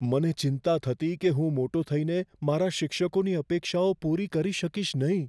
મને ચિંતા થતી કે હું મોટો થઈને મારા શિક્ષકોની અપેક્ષાઓ પૂરી કરી શકીશ નહીં.